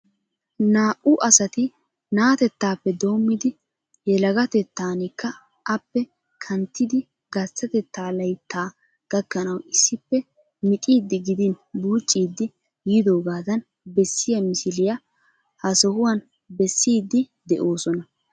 Naa"uasati na'atettaappe doommidi yelagatetankka appe kanttidi gasttateta layitta gakkanawu issippe mixiiddi gidin buucciiddi yiidoogadan bessiya missiliya ha sohuwan bessiiddi de'oosona.